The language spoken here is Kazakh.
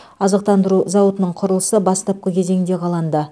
азықтандыру зауытының құрылысы бастапқы кезеңде қаланды